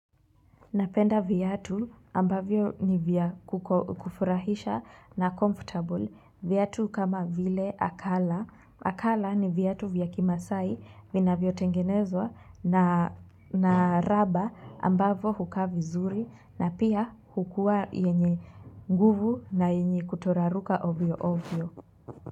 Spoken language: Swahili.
Napenda viatu ambavyo ni vya kufurahisha na comfortable viatu kama vile akala. Akala ni viatu vya Kimaasai vinavyotengenezwa na raba ambavyo hukaa vizuri na pia hukua yenye nguvu na yenye kutoraruka ovyo ovyo.